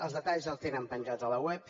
els detalls els tenen penjats a la web